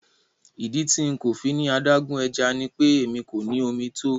Ìdí tí nkọ̀ fíní adágún ẹ̀já ní pé ẹmi kò ní omi tó.